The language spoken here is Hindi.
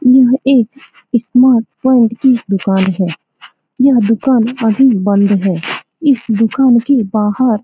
यह एक इस स्मार्ट वर्ल्ड की दुकान है। यह दुकान अभी बंद है। इस दुकान के बहार --